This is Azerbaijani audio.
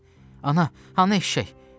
Ana, hanı eşşək?